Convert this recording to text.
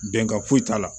Bɛnkan foyi t'a la